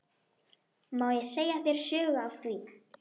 Má ég segja þér sögu af því?